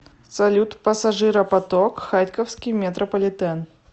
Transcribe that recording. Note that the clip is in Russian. салют пассажиропоток харьковский метрополитен